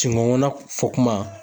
Si kɔnkɔna fɔ kuma